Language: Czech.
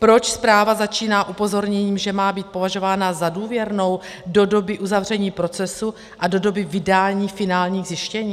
Proč zpráva začíná upozorněním, že má být považována za důvěrnou do doby uzavření procesu a do doby vydání finálních zjištění?